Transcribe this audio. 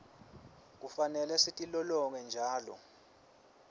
kufanele sitilolonge njalo